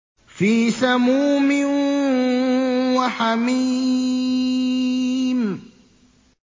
فِي سَمُومٍ وَحَمِيمٍ